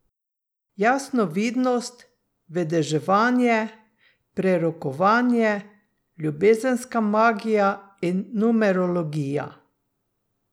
Jasnovidnost, vedeževanje, prerokovanje, ljubezenska magija in numerologija.